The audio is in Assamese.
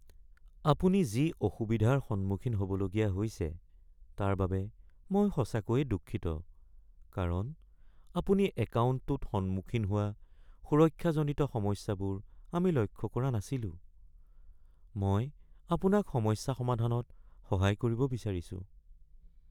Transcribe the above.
আপুনি যি অসুবিধাৰ সন্মুখীন হ’বলগীয়া হৈছে তাৰ বাবে মই সঁচাকৈয়ে দুঃখিত কাৰণ আপুনি একাউণ্টটোত সন্মুখীন হোৱা সুৰক্ষাজনিত সমস্যাবোৰ আমি লক্ষ্য কৰা নাছিলো। মই আপোনাক সমস্যা সমাধানত সহায় কৰিব বিচাৰিছোঁ। (বেঙ্কৰ কেৰাণী)